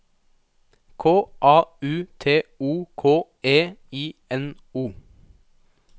K A U T O K E I N O